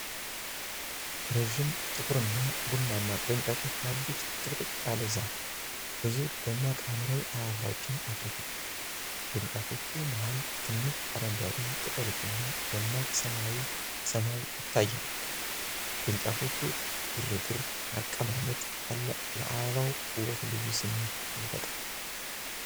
ረጅም ጥቁርና ቡናማ ቅርንጫፎች ያሉት ጥቅጥቅ ያለ ዛፍ፣ ብዙ ደማቅ ሐምራዊ አበባዎችን አፍርቷል። በቅርንጫፎቹ መሀል ትንሽ አረንጓዴ ቅጠሎችና ደማቅ ሰማያዊ ሰማይ ይታያሉ። የቅርንጫፎቹ ግርግር አቀማመጥ ለአበባው ውበት ልዩ ስሜት ይፈጥራል።